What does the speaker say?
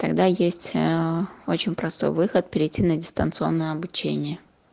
когда есть а очень простой выход перейти на дистанционное обучение